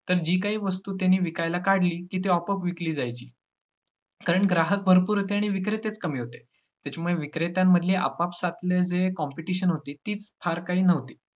तर जी काही वस्तु त्यांनी विकायला काढली, की ती आपोआप विकली जायची कारण ग्राहक भरपूर होते आणि विक्रेतेच कमी होते, त्याच्यामुळे विक्रेत्यांमधली आपापसातले जे competition होती तीच फार काही न्हवती.